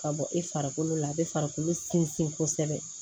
Ka bɔ i farikolo la a bɛ farikolo sinsin kosɛbɛ